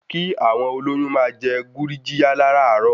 Kí àwọn olóyún máa jẹ gurjiya láràárò.